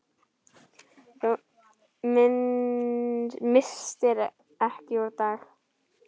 Þú misstir ekki úr dag.